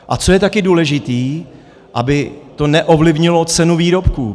A co je taky důležité, aby to neovlivnilo cenu výrobků.